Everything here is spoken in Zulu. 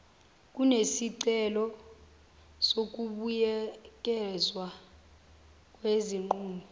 kunesicelo sokubuyekezwa kwesinqumo